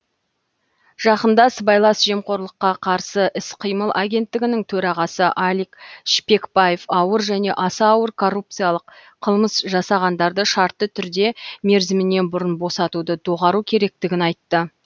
жақында сыбайлас жемқорлыққа қарсы іс қимыл агенттігінің төрағасы алик шпекбаев ауыр және аса ауыр коррупциялық қылмыс жасағандарды шартты түрде мерзімінен бұрын босатуды доғару керектігін айтты